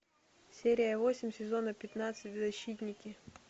серия восемь сезона пятнадцать защитники